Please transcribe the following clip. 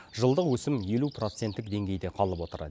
жылдық өсім елу проценттік деңгейде қалып отыр